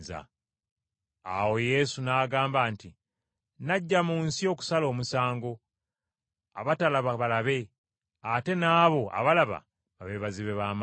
Awo Yesu n’agamba nti, “Najja mu nsi okusala omusango, abatalaba balabe, ate naabo abalaba babe bazibe ba maaso.”